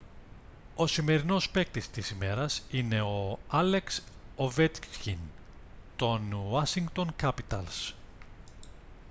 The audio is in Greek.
ο σημερινός παίκτης της ημέρας είναι ο άλεξ οβέτσκιν των ουάσιγκτον κάπιταλς